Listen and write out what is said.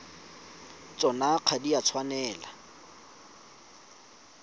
tsona ga di a tshwanela